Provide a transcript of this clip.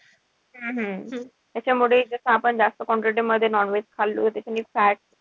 हम्म हम्म त्याच्यामुळे कस आपण जास्त quantity मध्ये non-veg खाल्लं त्याचेनि fat,